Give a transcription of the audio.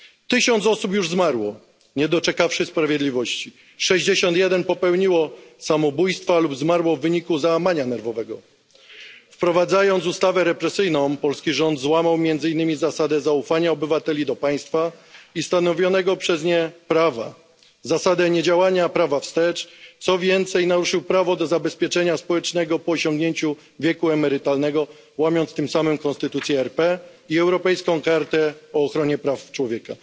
Tysiąc osób już zmarło, nie doczekawszy sprawiedliwości, 61 popełniło samobójstwo lub zmarło w wyniku załamania nerwowego. Wprowadzając ustawę represyjną, polski rząd złamał między innymi zasadę zaufania obywateli do państwa i stanowionego przez nie prawa, zasadę niedziałania prawa wstecz, co więcej naruszył prawo do zabezpieczenia społecznego po osiągnięciu wieku emerytalnego, łamiąc tym samym Konstytucję RP i europejską Konwencję o ochronie praw człowieka.